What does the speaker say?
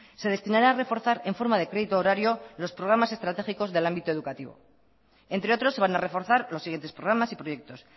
se destinará a reforzar en forma de crédito horario los programas estratégicos del ámbito educativo entre otros se van a reforzar los siguientes programas y proyectos